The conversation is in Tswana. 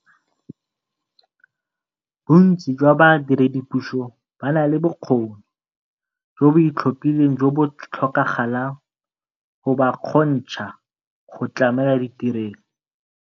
Bontsi jwa ba diredipuso ba na le bokgoni jo bo itlhophileng jo bo tlhokagalang go ba kgontsha go tlamela tirelo.